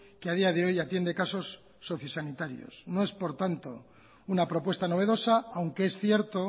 que a día de hoy atiende casos sociosanitarios no es por tanto una propuesta novedosa aunque es cierto